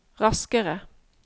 raskere